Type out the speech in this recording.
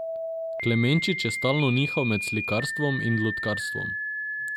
Klemenčič je stalno nihal med slikarstvom in lutkarstvom.